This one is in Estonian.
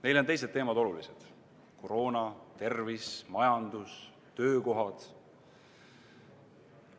Neile on olulised teised teemad: koroona, tervis, majandus, töökohad.